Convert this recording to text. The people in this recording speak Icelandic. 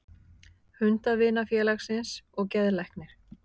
Hundavinafélagsins og geðlæknir.